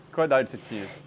Qual a idade que você tinha?